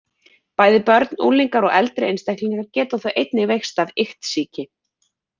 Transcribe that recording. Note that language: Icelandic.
Bæði börn, unglingar og eldri einstaklingar geta þó einnig veikst af iktsýki.